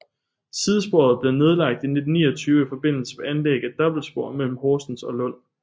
Sidesporet blev nedlagt i 1929 i forbindelse med anlæg af dobbeltspor mellem Horsens og Lund